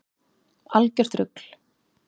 Algjört rugl.